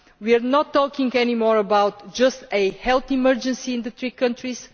We are not talking anymore just about a health emergency in the three countries